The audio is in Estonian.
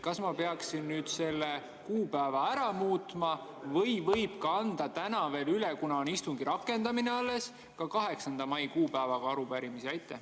Kas ma peaksin selle kuupäeva ära muutma või võin ka täna veel anda üle, kuna on alles istungi rakendamine, 8. mai kuupäevaga arupärimisi?